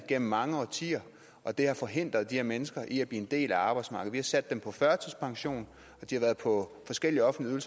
gennem mange årtier og det har forhindret de her mennesker i at blive en del af arbejdsmarkedet sat dem på førtidspension og de har været på forskellige offentlige